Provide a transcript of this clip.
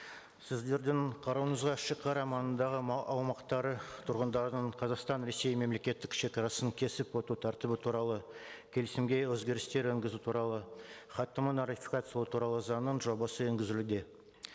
сіздердің қарауыңызға шегара маңындағы аумақтары тұрғындарының қазақстан ресей мемлекеттік шегарасын кесіп өту тәртібі туралы келісімге өзгерістер енгізу туралы хаттаманы ратификациялау туралы заңның жобасы енгізілуде